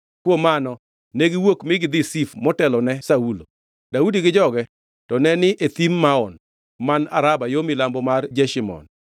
Kuom mano ne giwuok mi gidhi Zif motelone Saulo. Daudi gi joge to ne ni e Thim Maon man Araba yo milambo mar Jeshimon.